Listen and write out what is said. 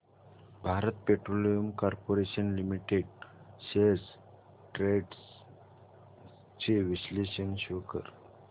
Bharat petroleum corporation limited shares trends चे विश्लेषण show कर